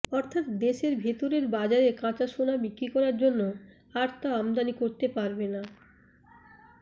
অর্থাৎ দেশের ভিতরের বাজারে কাঁচা সোনা বিক্রি করার জন্য আর তা আমদানি করতে পারবে না